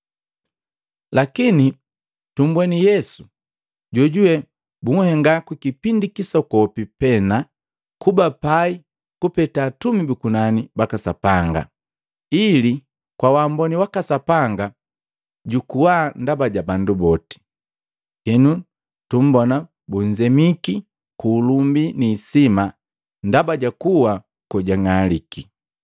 Lakini tumbweni Yesu jojuwe bunhenga ku kipindi kisokopi pena kuba pai kupeta atumi bu kunani baka Sapanga, ili kwa waamboni waka Sapanga jukuwa ndaba ja bandu boti. Henu tumbona bunzemiki ku ulumbi ni hisima ndaba ja kuwa kojung'aliki.